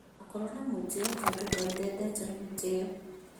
Ndũgakorwo na mwĩtĩyo tondũ Ngai ndendete mwĩtĩyo